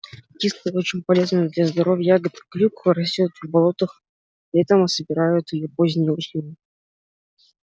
кислая и очень полезная для здоровья ягода клюква растёт в болотах летом а собирают её поздней осенью